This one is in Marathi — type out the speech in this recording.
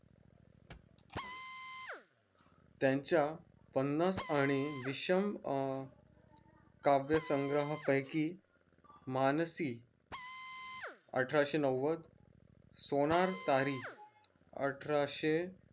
त्यांच्या पन्नास आणि विषम अह काव्यासंग्रहापैकी मानसी अठराशे नव्वद सोनारतारी अठराशे